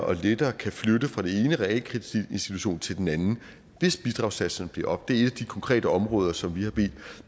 og lettere kan flytte fra den ene realkreditinstitution til den anden hvis bidragssatserne bliver sat op det er et af de konkrete områder som vi har bedt